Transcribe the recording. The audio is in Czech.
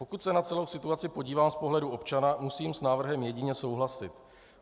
Pokud se na celou situaci podívám z pohledu občana, musím s návrhem jedině souhlasit.